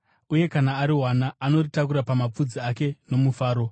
Uye kana ariwana, anoritakura pamapfudzi ake nomufaro